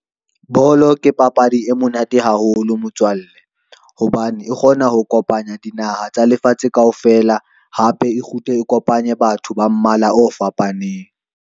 Bolo ke papadi e monate haholo motswalle, hobane e kgona ho kopanya dinaha tsa lefatshe kaofela, hape e kgutle e kopanye batho ba mmala o fapaneng.